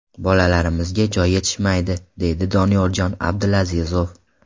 Bolalarimizga joy yetishmaydi,” – deydi Doniyorjon Abdulazizov.